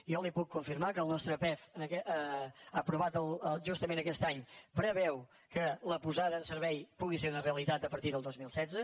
jo li puc confirmar que el nostre pef aprovat justament aquest any preveu que la posada en servei pugui ser una realitat a partir del dos mil setze